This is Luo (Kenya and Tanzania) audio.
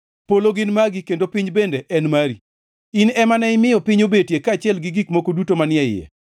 Polo gin magi, kendo piny bende en mari. In ema ne imiyo piny obetie kaachiel gi gik moko duto manie iye.